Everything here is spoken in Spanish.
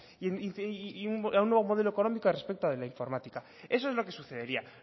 y un nuevo modelo económico respecto de la informática eso es lo que sucedería